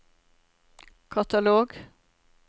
katalog